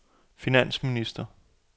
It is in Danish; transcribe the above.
finansminister